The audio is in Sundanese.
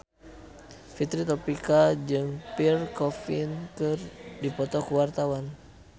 Fitri Tropika jeung Pierre Coffin keur dipoto ku wartawan